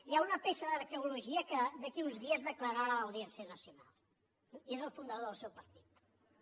hi ha una peça d’arqueologia que d’aquí a uns dies declararà a l’audiència nacional i és el fundador del seu partit eh moltes gràcies